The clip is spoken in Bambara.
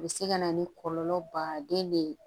A bɛ se ka na ni kɔlɔlɔ baden de ye